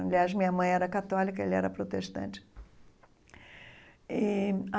Aliás, minha mãe era católica, ele era protestante e.